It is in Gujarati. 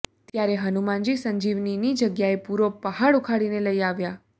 ત્યારે હનુમાનજી સંજીવનીની જગ્યાએ પૂરો પહાડ ઊખાડીને લઇ આવ્યા